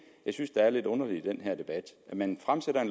jeg synes er lidt underligt i den her debat man fremsætter